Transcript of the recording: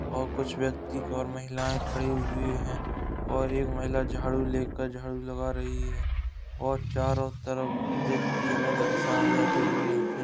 और कुछ व्यक्ति और महिलायें खड़े हुए हैं और एक महिला झाड़ू लेकर झाड़ू लगा रही है और चारों तरफ देखती अलग-अलग दिशा में बैठे हुए हैं।